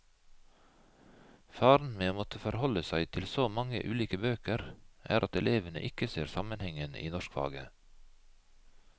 Faren med å måtte forholde seg til så mange ulike bøker, er at elevene ikke ser sammenhengen i norskfaget.